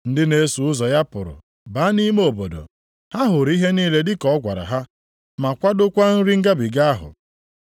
Ndị na-eso ụzọ ya pụrụ baa nʼime obodo, ha hụrụ ihe niile dị ka ọ gwara ha. Ma kwadokwa nri ngabiga ahụ.